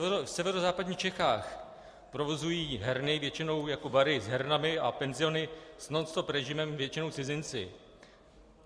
V severozápadních Čechách provozují herny většinou jako bary s hernami a penziony s nonstop režimem většinou cizinci.